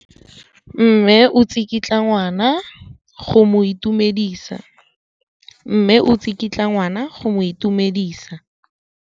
Mme o tsikitla ngwana go mo itumedisa.